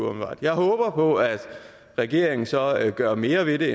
jeg håber på at regeringen så gør mere ved det